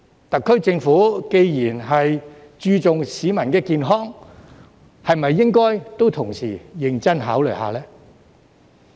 特區政府既然注重市民健康，是否也應該同時認真考慮一下呢？